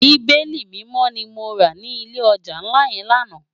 Bibéli Mimò ni mó rá ni ilé òjá nlá yèn làná